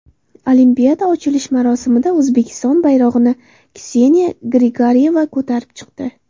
Olimpiada ochilish marosimida O‘zbekiston bayrog‘ini Kseniya Grigoryeva ko‘tarib chiqdi.